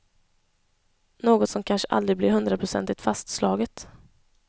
Något som kanske aldrig blir hundraprocentigt fastslaget.